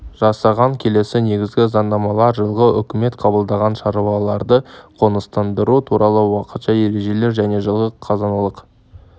жасаған келесі негізгі заңнамалар жылғы үкімет қабылдаған шаруаларды қоныстандыру туралы уақытша ережелер және жылғы қазыналық